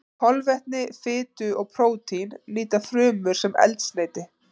Kolvetni, fitu og prótín nýta frumur sem eldsneyti.